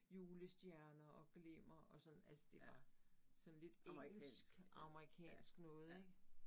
Julestjerner og glimmer og sådan. Altså det var sådan lidt engelsk amerikansk noget ik